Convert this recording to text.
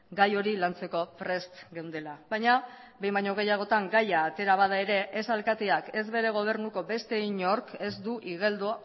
gai hori lantzeko prest geundela baina behin baino gehiagotan gaia atera bada ere ez alkateak ez bere gobernuko beste inork ez du igeldo